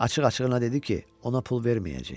Açıq-açığına dedi ki, ona pul verməyəcək.